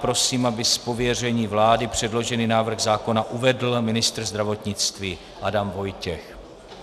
Prosím, aby z pověření vlády předložený návrh zákona uvedl ministr zdravotnictví Adam Vojtěch.